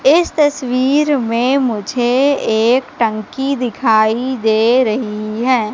इस तस्वीर में मुझे एक टंकी दिखाई दे रही है।